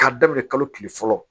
K'a daminɛ kalo kile fɔlɔ